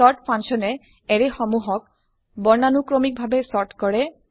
sort function এ array সমুহক বৰ্ণানুক্ৰমিক ভাবে চৰ্ট কৰে